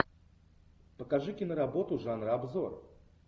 покажи киноработу жанра обзор